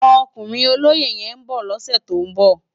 Òkúnrin ólóyé yèn n bò lòsè tó n bò